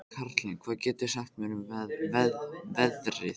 Karlinna, hvað geturðu sagt mér um veðrið?